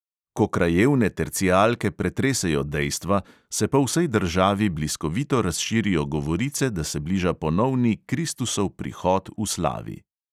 Ko krajevne tercijalke pretresejo dejstva, se po vsej državi bliskovito razširijo govorice, da se bliža ponovni kristusov prihod v slavi.